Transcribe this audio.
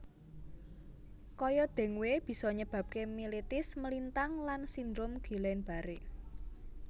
Kaya dengue bisa nyebabke mielitis melintang lan sindrom Guillain Barré